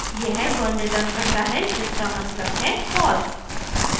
यह one returns करता है जिसका मतलब है false